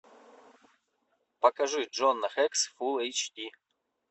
покажи джона хекс фулл эйч ди